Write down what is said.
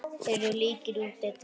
Þeir eru líkir í útliti.